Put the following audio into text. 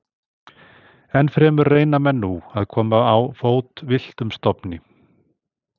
Enn fremur reyna menn nú að koma á fót villtum stofni.